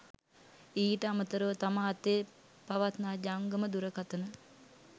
ඊට අමතරව තම අතේ පවත්නා ජංගම දුරකථන